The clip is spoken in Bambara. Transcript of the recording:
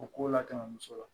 O ko la tɛmɛ muso la